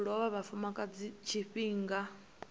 lovha ha vhafumakadzi nga tshifhinga